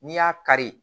N'i y'a kari